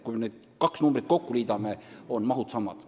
Kui me need kaks numbrit kokku liidame, on mahud samad.